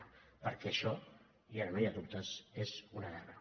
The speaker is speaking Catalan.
perquè això i ara no hi ha dubtes és una guerra